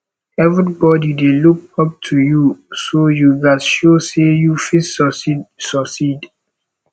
everybody dey look up to you so you gats show sey you fit succeed succeed